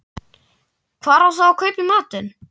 Hvar á þá að kaupa í matinn?